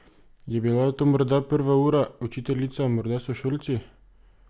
Je bila to morda prva ura, učiteljica, morda sošolci?